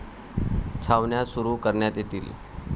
छावण्या सुरु करण्यात येतील.